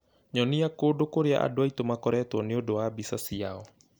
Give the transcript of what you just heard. nyonie kũndũ kũrĩa andũ aitũ makoretwo nĩ ũndũ wa mbica ciao